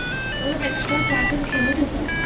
ବୋଲେ ସେ ଏକ୍ସଟ୍ରା ଚାର୍ ଜନ୍ ଖେଲୁ ଥେସନ୍?